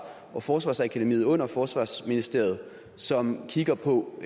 og forsvarsakademiet under forsvarsministeriet som kigger på